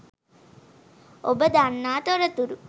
ඔබ දන්නා තොරතුරු